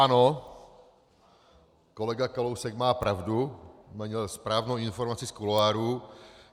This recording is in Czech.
Ano, kolega Kalousek má pravdu, měl správnou informaci z kuloárů.